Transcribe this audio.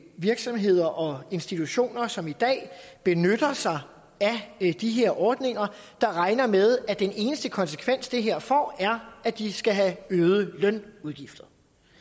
virksomheder og institutioner som i dag benytter sig af de her ordninger der regner med at den eneste konsekvens det her får er at de skal have øgede lønudgifter